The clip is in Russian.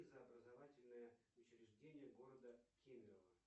образовательное учреждение города кемерово